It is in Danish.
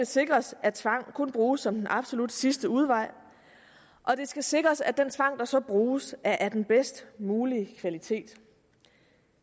sikres at tvang kun bruges som den absolut sidste udvej og det skal sikres at den tvang der så bruges er af den bedst mulige kvalitet